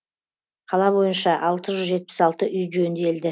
қала бойынша алты жүз жетіп алты үй жөнделді